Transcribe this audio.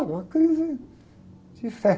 Uma crise de fé.